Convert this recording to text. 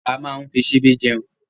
A máa ń fi ṣìbí jeun